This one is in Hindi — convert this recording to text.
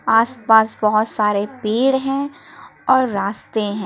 आस पास बहोत सारे पेड़ हैं और रास्ते हैं।